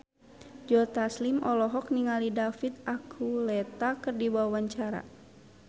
Joe Taslim olohok ningali David Archuletta keur diwawancara